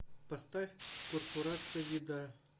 поставь корпорация еда